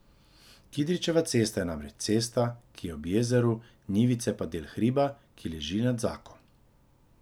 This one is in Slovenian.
Kidričeva cesta je namreč cesta, ki je ob jezeru, Njivice pa del hriba, ki leži nad Zako.